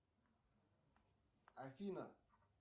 афина